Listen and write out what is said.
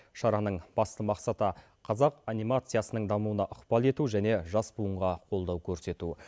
шараның басты мақсаты қазақ анимациясының дамуына ықпал ету және жас буынға қолдау көрсету